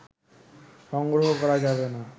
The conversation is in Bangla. সংগ্রহ করা যাবে না